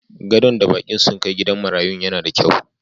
Gadon da bakin sun kai gidan marayun na da kyau.